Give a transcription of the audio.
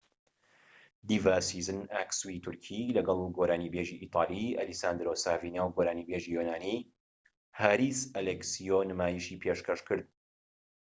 دیڤا سیزین ئاکسوی تورکی لەگەڵ گۆرانی بێژی ئیتالی ئەلیساندرۆ سافینا و گۆرانی بێژی یۆنانی هاریس ئەلێکسیۆ نمایشی پێشکەشکرد